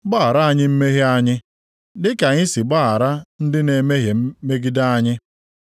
Gbaghara anyị mmehie anyị, dịka anyị si agbaghara ndị na-emehie megide anyị.